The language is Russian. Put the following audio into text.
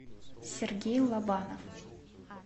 сергей лобанов